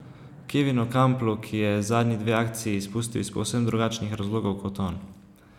Kevinu Kamplu, ki je zadnji dve akciji izpustil iz povsem drugačnih razlogov kot on.